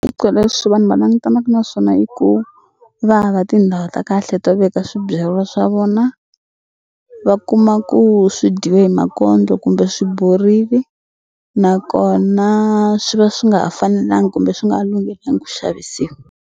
Swiphiqo leswi vanhu va langutanaku na swona i ku va hava tindhawu ta kahle to veka swibyariwa swa vona va kuma ku swi dyiwe hi makondlo kumbe swi borili nakona swi va swi nga ha fanelanga kumbe swi nga ku xavisiwa.